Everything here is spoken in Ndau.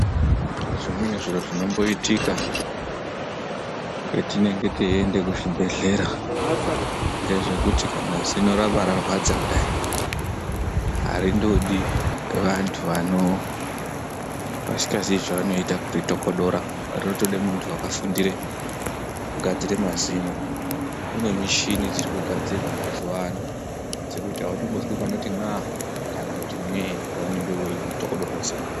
Zvimweni zviro zvinomboitika kwetinenge teiende kuzvibhedhlera, ngezvekuti kana zino rabararwadza kudai, harindodi vantu vasingaziye zvanoita kuritokotora. Rinotoda muntu wakafundire kugadzire mazino. Kune michini dziri kugadzirwa mazuva ano, dzekuti hautombozwi panoti n'a kana kuti n'e paunenge uchitobodorwa zino.